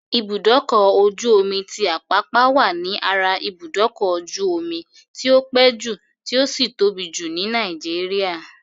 Ibùdókọ̀-ojú-omi ti Àpápá wà ní ara ibùdókọ́-jú-ọmi tí o pé jù tí ó sì tóbi jù ní Nàìgéríà.